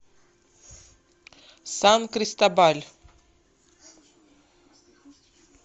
сан кристобаль